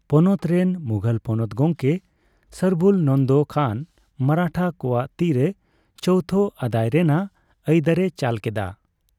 ᱯᱚᱱᱚᱛ ᱨᱮᱱ ᱢᱩᱜᱷᱚᱞ ᱯᱚᱱᱚᱛ ᱜᱚᱢᱠᱮ ᱥᱚᱨᱵᱩᱞᱱᱚᱱᱫᱚ ᱠᱷᱟᱱ ᱢᱟᱨᱟᱴᱷᱟ ᱠᱚᱣᱟᱜ ᱛᱤᱨᱮ ᱪᱳᱣᱛᱷ ᱟᱹᱫᱟᱹᱭ ᱨᱮᱱᱟᱜ ᱟᱹᱭᱫᱟᱹᱨᱮ ᱪᱟᱞ ᱠᱮᱫᱟ ᱾